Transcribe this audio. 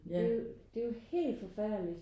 Det er jo det er jo helt forfærdeligt